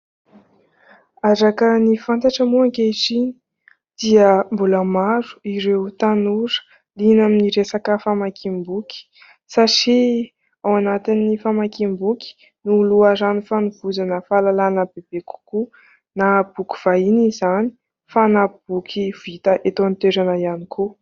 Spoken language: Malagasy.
Araka ny fantatra moa ankehitriny dia mbola maro ireo tanora liana amin'ny resaka famakiam-boky satria ao anatin'ny famakiam-boky no loharano fanovozana fahalalàna bebe kokoa na boky vahiny izany fa na boky vita eto an-toerana ihany koa.